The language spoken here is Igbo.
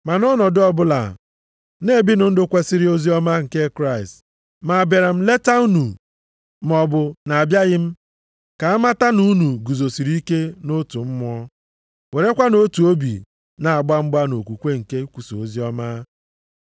Ma nʼọnọdụ ọbụla, na-ebinụ ndụ kwesiri oziọma nke Kraịst, ma abịara m leta unu maọbụ na abịaghị m, ka a mata na unu guzosiri ike nʼotu mmụọ, werekwa otu obi na-agba mgba nʼokwukwe nke ikwusa oziọma,